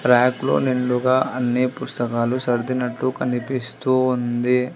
Bank లో నిండుగా అన్ని పుస్తకాలు సర్దినట్టు కనిపిస్తూ ఉంది.